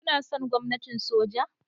Kuna son gwamnatin soja?